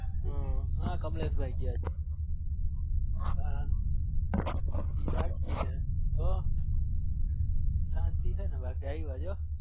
હ કમલેસ ભાઈ મોજે મોજ માજ હોય palty ફોમજ હોય ભાઈ તો શાંતિ હ ન ભાઈ